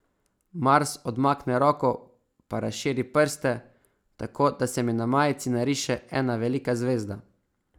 Mars odmakne roko pa razširi prste, tako da se mi na majici nariše ena velika zvezda.